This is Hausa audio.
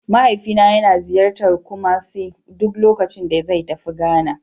Mahaifina yana ziyartar Kumasi duk lokacin da zai tafi Ghana.